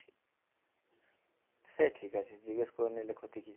সে ঠিক আছে জিজ্ঞেস করে নিলে ক্ষতি কি